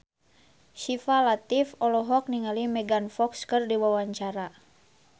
Syifa Latief olohok ningali Megan Fox keur diwawancara